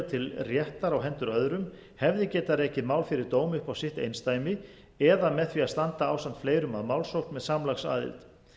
til réttar á hendur öðrum hefði getið rekið mál fyrir dómi upp á sitt eindæmi eða með því að standa ásamt fleirum að málsókn með samlagsaðild þess í stað